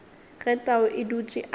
ge tau a dutše a